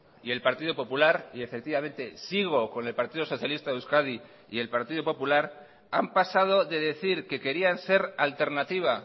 y el partido popular y efectivamente sigo con el partido socialista de euskadi y el partido popular han pasado de decir que querían ser alternativa